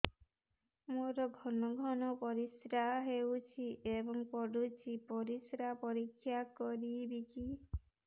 ମୋର ଘନ ଘନ ପରିସ୍ରା ହେଉଛି ଏବଂ ପଡ଼ୁଛି ପରିସ୍ରା ପରୀକ୍ଷା କରିବିକି